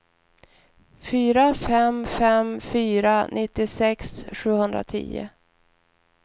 fyra fem fem fyra nittiosex sjuhundratio